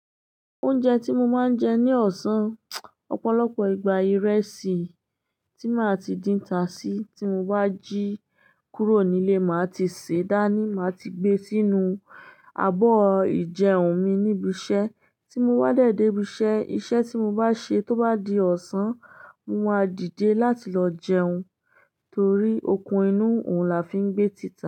Oúnjẹ tí mo máa ń jẹ ní ọ̀sán, ọ̀pọ̀lọpọ̀ ìgbà ìrẹsì tí màá ti dín ta sí. Tí mo bá jí kúrò nílé, màá ti sèé dání, màá ti gbe sínú abọ́ ìjẹun mi níbi iṣẹ́. Tí mo bá dẹ̀ dé ibi iṣẹ́, iṣẹ́ tí mo bá ṣe tó bá di ọ̀sán, mo máa dìde láti lọ jẹun. Torí okun inú òun la fi ń gbé títà.